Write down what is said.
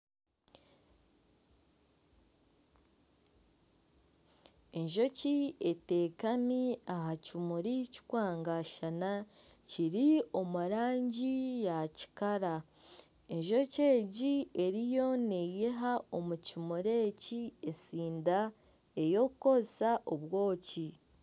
Enjoki etekami aha kimuri kikwangashana kiri omurangi ya kikara enjoki egi eriyo neyiha omu kimuri eki esinda eyokukoresa obwoki.